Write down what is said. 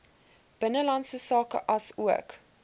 binnelandse sake aansoek